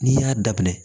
N'i y'a daminɛ